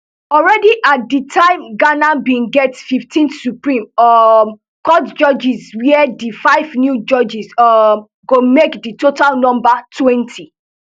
already at di time ghana bin get fifteen supreme um court judges wia di five new judges um go make di total number twenty